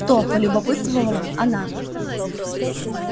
кто полюбопытствовала она